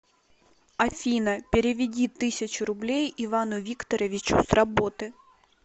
афина переведи тысячу рублей ивану викторовичу с работы